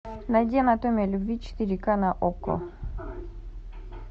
найди анатомия любви четыре к на окко